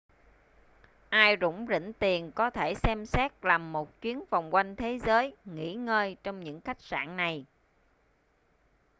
ai rủng rỉnh tiền có thể xem xét làm một chuyến vòng quanh thế giới nghỉ ngơi trong những khách sạn này